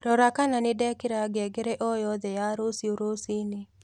rora kana nindekira ngengere o yothe ya rũcĩũ rũcĩĩnĩ